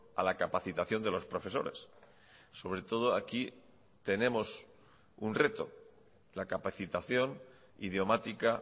a la capacitación de los profesores sobre todo aquí tenemos un reto la capacitación idiomática